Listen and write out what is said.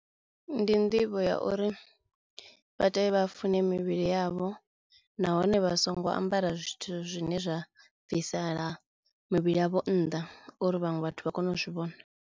Ndi nḓivho ya uri vha tea vha fune mivhili yavho nahone vha songo ambara zwithu zwine zwa bvisela mivhili yavho nnḓa uri vhaṅwe vhathu vha kone u zwi vhona.